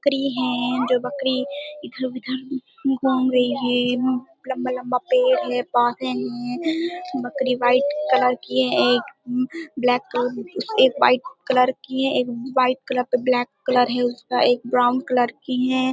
बकरी है। दो बकरी इधर उधर घूम रही है। लम्बा-लम्बा पेड़ है है बकरी वाइट कलर की है एक ब्लैक कलर एक वाइट कलर की हैं एक वाइट कलर पर ब्लैक कलर है उसका एक ब्राउन कलर की हैं।